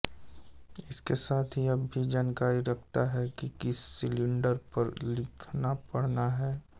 इसके साथ यह भी जानकारी रखता है कि किस सिलिण्डर पर लिखनापढ़ना है